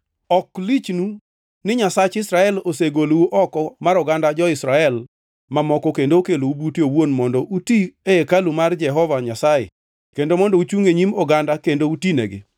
Ok lichnu ni Nyasach Israel osegolou oko mar oganda jo-Israel mamoko kendo okelou bute owuon mondo uti e hekalu mar Jehova Nyasaye kendo mondo uchung e nyim oganda kendo utinegi?